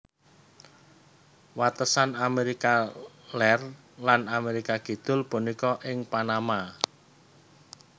Watesan Amérika Lèr lan Amérika Kidul punika ing Panama